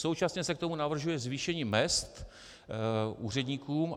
Současně se k tomu navrhuje zvýšení mezd úředníkům.